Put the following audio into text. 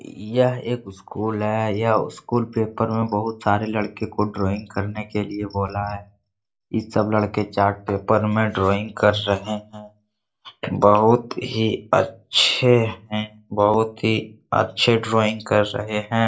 यह एक स्कूल है। यह स्कूल पेपर में बहुत सारे लड़के को ड्राइंग करने के लिए बोला है। इ सब लड़के चार्ट पेपर में ड्राइंग कर रहें हैं बहुत ही अच्छे हैं। बहुत ही अच्छे ड्राइंग कर रहें हैं।